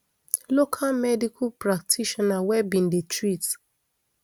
local medical practitioner wey bin dey treat